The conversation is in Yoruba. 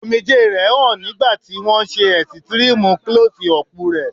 Omijé rẹ̀ hàn nígbà tí wón ṣe ẹ̀sítírímú Klọ́sí ọpù rẹ̀.